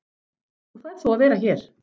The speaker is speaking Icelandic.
En þú færð þó að vera hér.